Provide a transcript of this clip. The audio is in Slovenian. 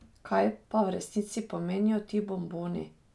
Kaj pa v resnici pomenijo ti bomboni?